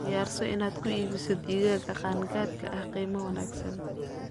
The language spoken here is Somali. Diyaarso inaad ku iibiso digaagga qaan-gaadhka ah qiimo wanaagsan.